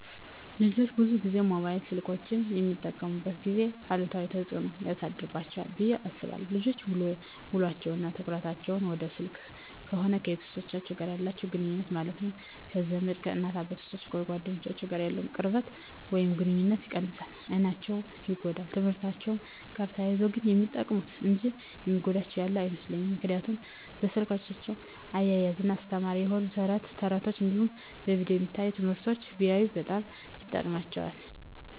ልጆች ብዙን ጊዜ ሞባይል ስልኮችን በሚጠቀሙበት ጊዜ አሉታዊ ተፅዕኖ ያሳድርባቸዋል ብየ አስባለሁ። ልጆች ውሎቸው እና ትኩረታቸውን ወደ ስልክ ከሆነ ከቤተሰቦቻቸው ጋር ያላቸውን ግኑኙነት ማለትም ከዘመድ፣ ከእናት አባቶቻቸው፣ ከጓደኞቻቸው ጋር ያለውን ቅርበት ወይም ግኑኝነት ይቀንሳል፣ አይናቸው ይጎዳል፣ በትምህርትአቸው ጋር ተያይዞ ግን የሚጠቅሙ እንጂ የሚጎዳቸው ያለ አይመስለኝም ምክንያቱም በስልኮቻቸው እያዝናና አስተማሪ የሆኑ ተረት ተረቶች እንዲሁም በቪዲዮ የሚታዩ ትምህርቶችን ቢያዩ በጣም ይጠቅማቸዋል።